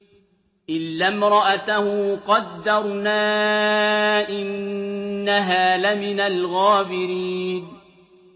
إِلَّا امْرَأَتَهُ قَدَّرْنَا ۙ إِنَّهَا لَمِنَ الْغَابِرِينَ